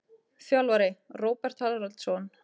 Þjálfari: Róbert Haraldsson.